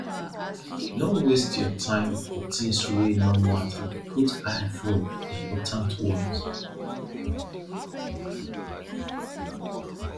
no waste your time for tins wey no matter put eye for important ones